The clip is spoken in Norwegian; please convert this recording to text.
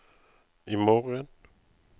imorgen